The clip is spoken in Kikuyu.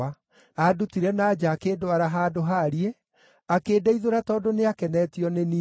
Andutire na nja akĩndwara handũ haariĩ, akĩndeithũra tondũ nĩakenetio nĩ niĩ.